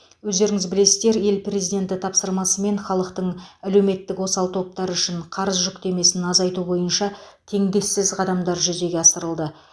өздеріңіз білесіздер ел президенті тапсырмасымен халықтың әлеуметтік осал топтары үшін қарыз жүктемесін азайту бойынша теңдессіз қадамдар жүзеге асырылды